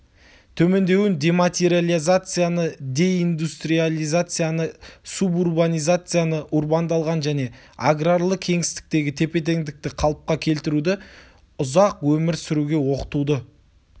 төмендеуін дематериализацияны деиндустриализацияны субурбанизацияны урбандалған және аграрлы кеңістіктегі тепе-теңдікті қалыпқа келтіруді ұзақ өмір сүруге оқытуды